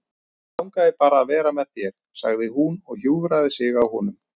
Mig langar bara að vera með þér, sagði hún og hjúfraði sig að honum.